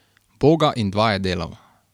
Boga in dva je delal.